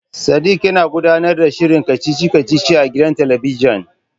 Sadik yana gudanar da shirin kacici kacici a gidan talabijin.